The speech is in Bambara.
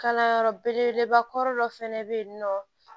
Kalanyɔrɔ belebeleba kɔrɔ dɔ fɛnɛ be yen nɔ